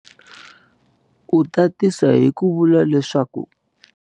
U tatisa hi ku vula leswaku.